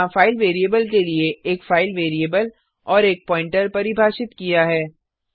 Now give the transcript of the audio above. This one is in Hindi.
यहाँ फाइल वेरिएबल के लिए एक फाइल वेरिएबल और एक प्वॉइंटर परिभाषित किया है